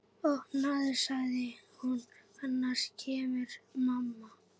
Opnaðu sagði hún, annars kemur mamma